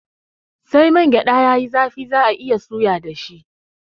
Sai mangyada yayi zafi za'a iya suya dashi